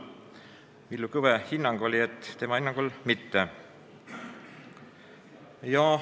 Villu Kõve ütles, et tema hinnangul mitte.